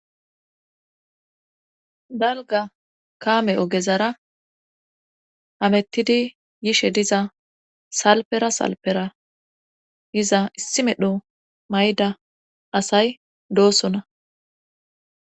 dalga kaame ogezara amettidi yishe diza salpera salpera yiza issi medho mayda asay doosona